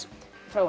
frá honum